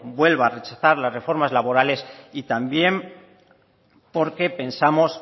vuelva a rechazar las reformas laborales y también porque pensamos